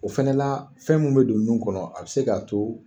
O fɛnɛ la fɛn min bɛ don nun kɔnɔ a bɛ se k'a to